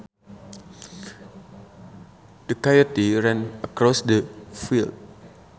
The coyote ran across the field